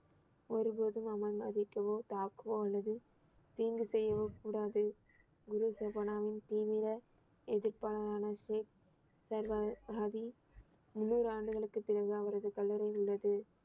ஒரு போதும் அவன் மதிக்கவோ தாக்கவோ அல்லது தீங்கு செய்யவோ கூடாது குரு சுபானாவின் தீவிர எதிர்ப்பாரான மதி முந்நூறு ஆண்டுகளுக்குப் பிறகு அவரது கல்லறை உள்ளது